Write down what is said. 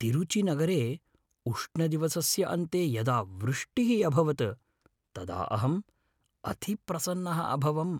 तिरुचिनगरे उष्णदिवसस्य अन्ते यदा वृष्टिः अभवत् तदा अहं अतिप्रसन्नः अभवम्।